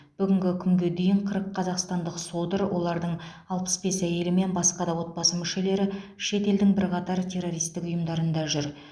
бүгінгі күнге дейін қырық қазақстандық содыр олардың алпыс бес әйелі мен басқа да отбасы мүшелері шет елдің бірқатар террористік ұйымда жүр